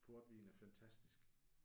Portvin er fantastisk